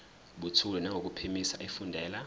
buthule nangokuphimisa efundela